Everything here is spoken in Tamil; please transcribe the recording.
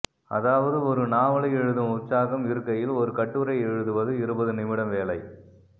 அதாவது ஒரு நாவலை எழுதும் உற்சாகம் இருக்கையில் ஒரு கட்டுரையை எழுதுவது இருபதுநிமிடவேலை